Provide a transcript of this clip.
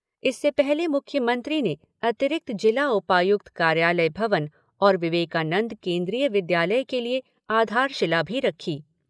इससे पहले मुख्यमंत्री ने अतिरिक्त जिला उपायुक्त कार्यालय भवन और विवेकानंद केंद्रीय विद्यालय के लिए आधारशिला भी रखी।